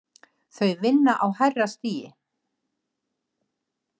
Þau vinna á hærra stigi